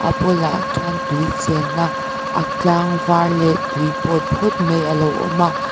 tah khian tui chenna a tlang var leh tui pawl phut mai a lo awm a.